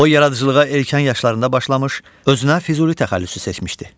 O yaradıcılığa erkən yaşlarında başlamış, özünə Füzuli təxəllüsü seçmişdi.